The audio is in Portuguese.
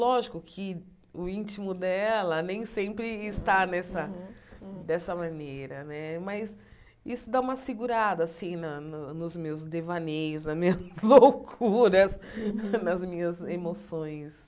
Lógico que o íntimo dela nem sempre está nessa dessa maneira né, mas isso dá uma segurada assim na no nos meus devaneios, nas minhas loucuras, nas minhas emoções.